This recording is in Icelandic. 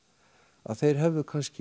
að þeir hefðu kannski